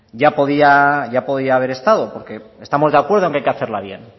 ya podía haber estado porque estamos de acuerdo que hay que hacerla bien